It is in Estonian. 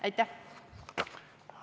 Aitäh!